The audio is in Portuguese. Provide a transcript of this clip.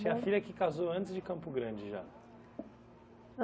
Tinha filha que casou antes de Campo Grande, já?